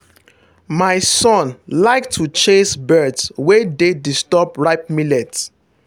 my son like to chase birds wey dey disturb ripe millet.